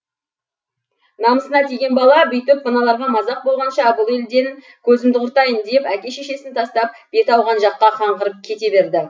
намысына тиген бала бүйтіп мыналарға мазақ болғанша бұл елден көзімді құртайын деп әке шешесін тастап беті ауған жаққа қаңғырып кете берді